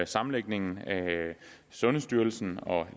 sammenlægningen af sundhedsstyrelsen og